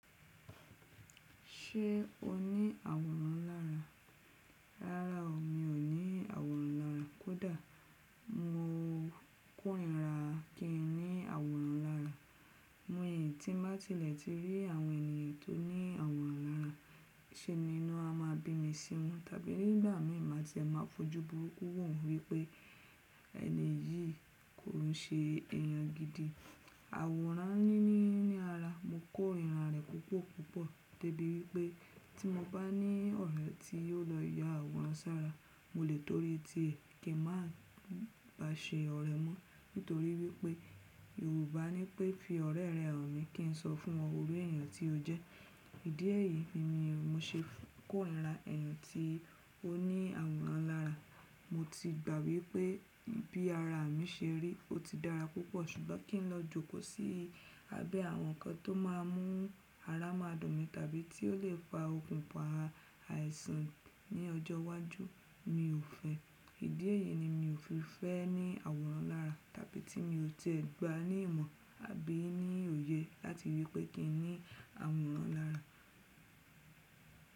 Ṣé o ní àwòrán lára? Rárá o, mi ò ní àwòrán lára. Kódà mo kò ríra kí n ní àwòrán lára. Mó yẹn tí má tilẹ̀ ti rí àwọn ènìyàn tó ní àwòrán lára, ṣe nínú a máa bi mí sí won tàbí nígbà míi má fojú burúkú wo won wípé ẹni yìí kò ún ṣe èèyàn gidi. Àwòrán ní ní ní ara, mo kò rí irun rẹ̀ púpọ̀ púpọ̀, tó bí wípé tí mo bá ní ọ̀rẹ́ tí yóò lọ yá àwòrán ṣára, mo lè torí ti kin má bá ṣe ọ̀rẹ́ mọ́. Nítorí wípé Yorùbá ní pé “fi ọ̀rẹ́ rẹ hàn mí, kí n sọ fún ọ iru èèyàn tí o jẹ́”. Ìdí ẹ́yí ni mí mú ṣe kò ríra ẹni tí ó ní àwòrán lára. Mo ti gbà wípé bí ara mi ṣe rí, ó ti dára púpọ̀. Ṣùgbọ́n kí n lọ jókòó sí abẹ́ àwọn nǹkan tó máa mú ara má dọ̀ mí, tàbí tí ó lè fa okùn pa àìsàn ní ọjọ́ iwájú, mi ò fẹ́. Ìdí ẹ́yí ni mi ò fi fẹ́ ní àwòrán lára, tàbí tí mi ò tiẹ̀ gba ní ìmọ̀ àbí ní òye láti ríi wípé kí n ní àwòrán lára.